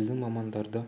біздің мамандарды